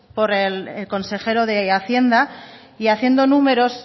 por el consejero de hacienda y haciendo números